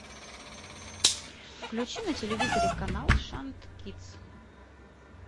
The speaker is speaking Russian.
включи на телевизоре канал шант кидс